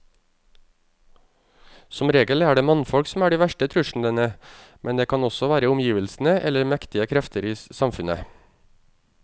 Som regel er det mannfolk som er de verste truslene, men det kan også være omgivelsene eller mektige krefter i samfunnet.